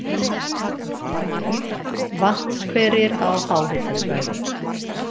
Vatnshverir á háhitasvæðum